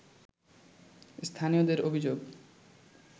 স্থানীয়দের অভিযোগ